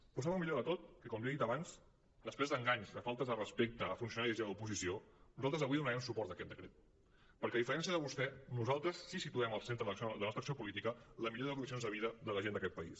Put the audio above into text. però sap el millor de tot que com li he dit abans després d’enganys de faltes de respecte a funcionaris i a l’oposició nosaltres avui donarem suport a aquest decret perquè a diferència de vostè nosaltres sí que situem al centre de la nostra acció política la millora de les condicions de vida de la gent d’aquest país